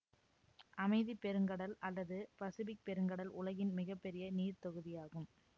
அமைதி பெருங்கடல் அல்லது பசிபிக் பெருங்கடல் உலகின் மிக பெரிய நீர் தொகுதியாகும்